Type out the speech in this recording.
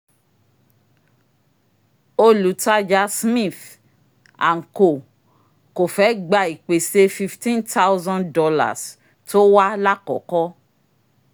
olùtajà smith & co kò fẹ́ gba ìpèsè $15000 tó wá lákọ́kọ́